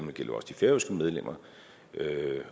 det gælder også de færøske medlemmer